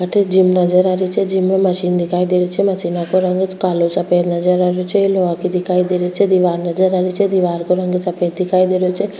अठे जिम नजर आ रही छे जिम में मशीन दिखाई दे रही छे मशीना को रंग कालो सफ़ेद नजर आ रही छे लोहा की दिखाई दे रही छे दिवार नजर आ रही छे दिवार को रंग सफ़ेद दिखाई दे रो छे।